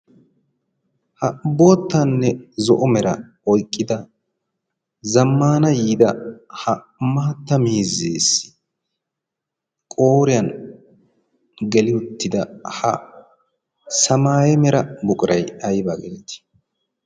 ha boottanne zo'o meraa oyqqida zammaana yiida maatta miizzeessi qooriyaan geli uttida ha samaaye mera buqquray aybaa gettettii?